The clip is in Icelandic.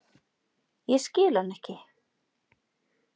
Ég skil hann ekki.